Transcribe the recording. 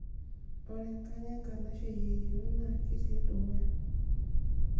ore enkang' enkanashe yieyio naa kitii dukuya